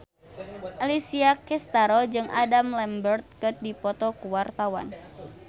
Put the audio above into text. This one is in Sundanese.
Alessia Cestaro jeung Adam Lambert keur dipoto ku wartawan